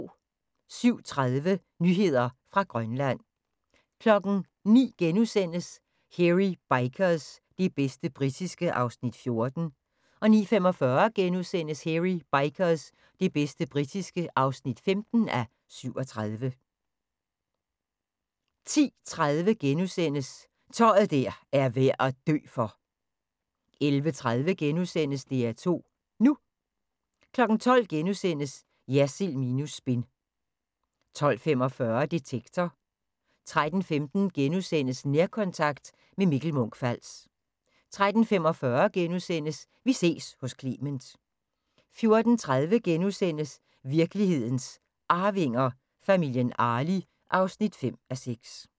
07:30: Nyheder fra Grønland 09:00: Hairy Bikers – det bedste britiske (14:37)* 09:45: Hairy Bikers – det bedste britiske (15:37)* 10:30: Tøj der er værd at dø for! * 11:30: DR2 NU * 12:00: Jersild minus spin * 12:45: Detektor * 13:15: Nærkontakt – med Mikkel Munch-Fals * 13:45: Vi ses hos Clement * 14:30: Virkelighedens Arvinger: Familien Arli (5:6)*